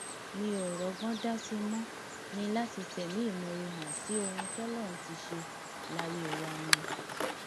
mi ò rọgbọn dá sí i mo ní láti fẹmí ìmoore hàn sí ohun tọlọrun ti ṣe láyé wa ni